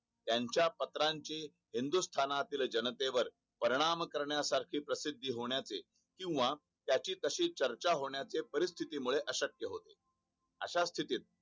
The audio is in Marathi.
त्याच्या पत्राची हिंदुस्थातील जनते वर परिणाम करण्या सारखी प्रसिद्धी होण्याचे किंवा त्याची तशी चर्चा होण्याचे परिस्तिथी मुळे अक्शक्य होते अश्या स्तिथीत